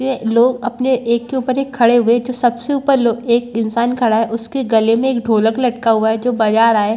लोग अपने एक के उपर खड़े हुए हैं जो सबसे उपर लोग एक इन्सान खड़ा हैं उसके गले में एक ढोलक लटका हुआ हैं जो बजा रहा हैं ।